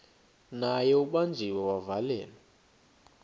naye ubanjiwe wavalelwa